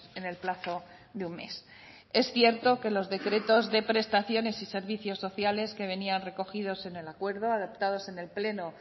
en el plazo de un mes es cierto que los decretos de prestaciones y servicios sociales que venían recogidos en el acuerdo adoptados en el pleno